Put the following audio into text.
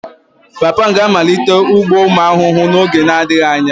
Papa m ga-amalite ugbo ụmụ ahụhụ n'oge na-adịghị anya